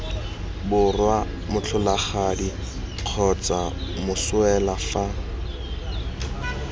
borwa motlholagadi kgotsa moswelwa fa